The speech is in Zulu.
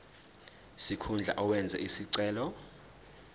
sikhundla owenze isicelo